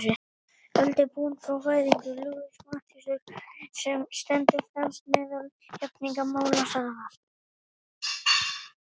Öld er liðin frá fæðingu Louisu Matthíasdóttur, sem stendur fremst meðal jafningja málaralistarinnar.